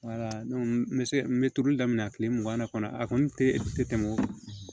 n bɛ se n bɛ turuli daminɛ tile mugan na kɔni a kɔni tɛ tɛmɛ o kan